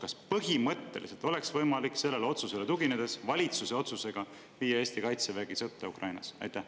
Kas põhimõtteliselt oleks võimalik sellele otsusele tuginedes valitsuse otsusega viia Eesti Kaitsevägi sõtta Ukrainas?